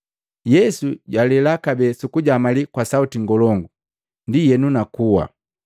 Yesu jwalela kabee sukujamali kwa sauti ngolongu, ndienu na kuwa.